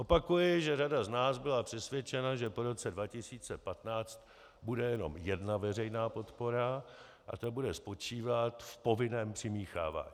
Opakuji, že řada z nás byla přesvědčena, že po roce 2015 bude jenom jedna veřejná podpora a ta bude spočívat v povinném přimíchávání.